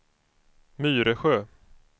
Myresjö